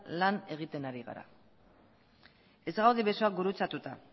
lan egiten ari gara ez gaude besoak gurutzatuta